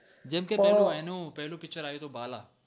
જેમ કે એનું પેલું picture આવ્યુ તું બાલા